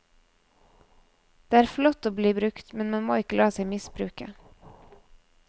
Det er flott å bli brukt, men man må ikke la seg misbruke.